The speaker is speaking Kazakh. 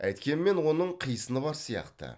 әйткенмен оның қисыны бар сияқты